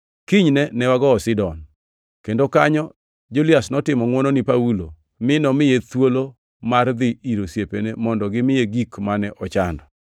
Kinyne ne wagowo Sidon, kendo kanyo Julias notimo ngʼwono ni Paulo mi nomiye thuolo mar dhi ir osiepene mondo gimiye gik mane ochando.